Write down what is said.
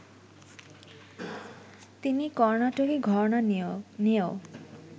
তিনি কর্নাটকি ঘরানা নিয়েও